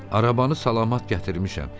Arabanı salamat gətirmişəm.